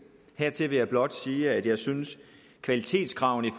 hertil vil jeg blot sige at jeg synes at kvalitetskravene